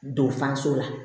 Don fanso la